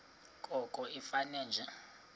koko ifane nje